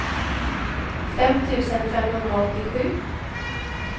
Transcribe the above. fem tusen femhundraåttiosju